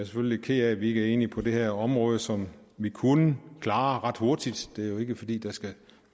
lidt ked af at vi ikke er enige på det her område som vi kunne klare ret hurtigt det er jo ikke fordi der skal